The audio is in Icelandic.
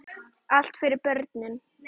Allt fyrir börnin.